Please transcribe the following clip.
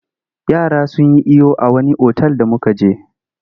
Yara sun yi iyo a wani otal da muka je.